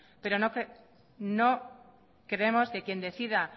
pero no creemos que quien decida